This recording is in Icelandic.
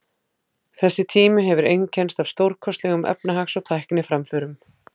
Þessi tími hefur einkennst af stórkostlegum efnahags- og tækniframförum.